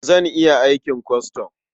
Zan iya aikin kwastam.